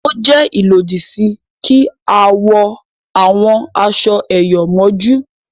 o jé ilodi sí kí a wọ àwọn aṣọ eyọ mójú